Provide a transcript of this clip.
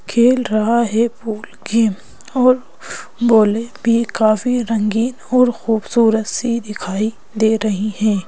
खेल रहा है पूल गेम और बॉले भी काफ़ी रंगीन और खूबसूरत सी दिखाई दे रही हैं।